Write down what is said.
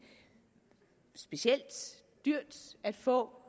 specielt dyrt at få